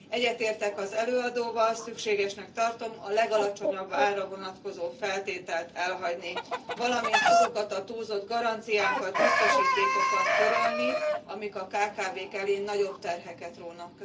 Egyetértek az előadóval, szükségesnek tartom a legalacsonyabb árra vonatkozó feltételt elhagyni, valamint azokat a túlzott garanciákat, biztosítékokat törölni, amik a kkv k elé nagyobb terheket rónak.